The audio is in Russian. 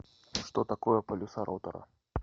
что такое полюса ротора